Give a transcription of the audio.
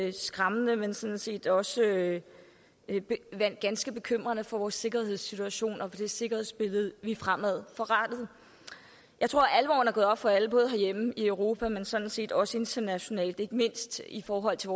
er skræmmende men sådan set også ganske bekymrende for vores sikkerhedssituation og det sikkerhedsbillede vi har fremadrettet jeg tror at alvoren er gået op for alle både herhjemme og i europa men sådan set også bredere internationalt ikke mindst i forhold til